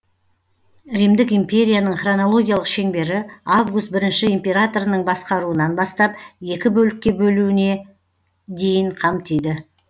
римдік империяның хронологиялық шеңбері август бірінші императорының басқаруынан бастап екі бөлікке бөлуіне дейін қамтиды